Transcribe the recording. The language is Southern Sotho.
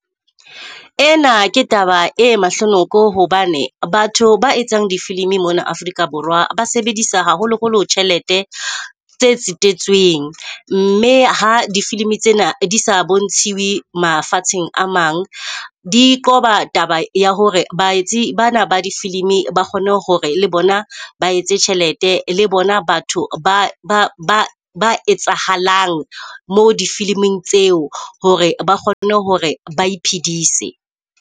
Ena ke taba e mahlonoko hobane batho ba etsang difilimi mona Afrika Borwa ba sebedisa haholoholo tjhelete tse tsetetsweng. Mme ha difilimi tsena di sa bontshiwe mafatsheng a mang, di qoba taba ya hore baetsi bana ba difilimi ba kgone hore le bona ba etse tjhelete. Le bona batho ba ba ba ba etsahalang moo difiliming tseo hore ba kgone hore ba iphedise.